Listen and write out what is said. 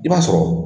I b'a sɔrɔ